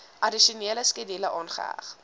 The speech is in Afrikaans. addisionele skedule aangeheg